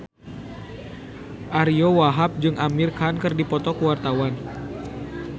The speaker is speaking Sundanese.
Ariyo Wahab jeung Amir Khan keur dipoto ku wartawan